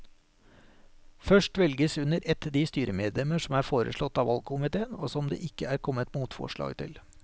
Først velges under ett de styremedlemmer som er foreslått av valgkomiteen og som det ikke er kommet motforslag til.